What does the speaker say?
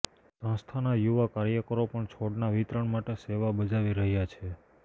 સંસ્થાના યુવા કાર્યકારો પણ છોડના વિતરણ માટે સેવા બજાવી રહ્યા છે